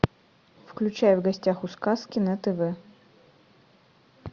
включай в гостях у сказки на тв